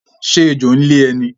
Ṣé ẹjọ́ ń lé ẹ ní?